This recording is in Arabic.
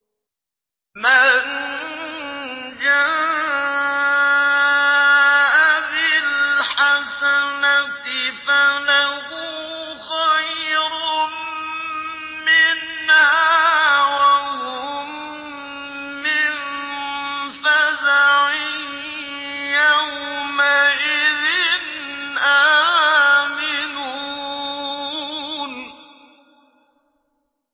مَن جَاءَ بِالْحَسَنَةِ فَلَهُ خَيْرٌ مِّنْهَا وَهُم مِّن فَزَعٍ يَوْمَئِذٍ آمِنُونَ